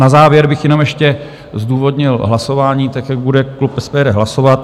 Na závěr bych jenom ještě zdůvodnil hlasování tak, jak bude klub SPD hlasovat.